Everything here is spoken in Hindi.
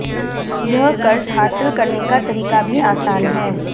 यह कर्ज हासिल करने का तरीका भी आसान है